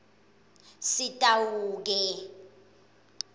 sitawuke